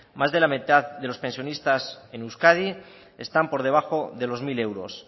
más de la mitad de los pensionistas en euskadi están por debajo de los mil euros